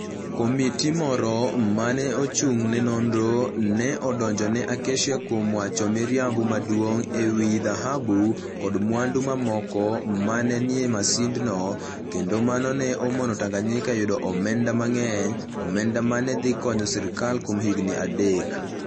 Komiti moro ma ne ochung ' ne nonro, ne odonjo ne Acacia kuom wacho miriambo maduong ' e wi dhahabu koda mwandu mamoko ma ne nie masindno, kendo mano ne omono Tanganyika yudo omenda mang'eny - omenda ma ne dhi konyo sirkal kuom higini adek.